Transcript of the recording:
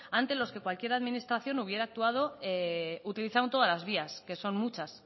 ante los que cualquiera administración hubiera actuado utilizando todas las vías que son muchas